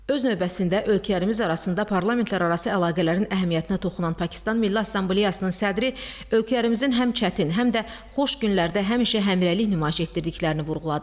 Öz növbəsində ölkələrimiz arasında parlamentlərarası əlaqələrin əhəmiyyətinə toxunan Pakistan Milli Assambleyasının sədri ölkələrimizin həm çətin, həm də xoş günlərdə həmişə həmrəylik nümayiş etdirdiklərini vurğuladı.